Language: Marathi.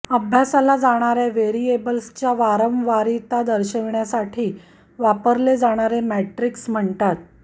अभ्यासल्या जाणार्या व्हेरिएबल्सच्या वारंवारिता दर्शविण्यासाठी वापरले जाणारे मॅट्रिक्स म्हणतात